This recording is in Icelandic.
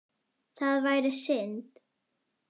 Það væri synd.